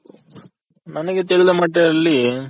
ನನಗೆ ತಿಳಿದ ಮಟ್ಟಿನಲ್ಲಿ